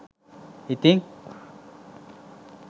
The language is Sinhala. ඉතිං?